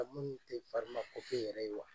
A minnu tɛ yɛrɛ ye wa?